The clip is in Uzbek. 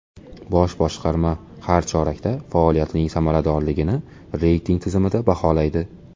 Bosh boshqarma har chorakda faoliyatining samaradorligini reyting tizimida baholaydi.